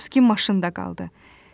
Petrovski maşında qaldı.